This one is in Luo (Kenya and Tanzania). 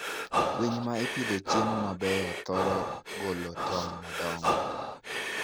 Winy ma ipidho chiemo mabeyo, thoro golo tong' madongo.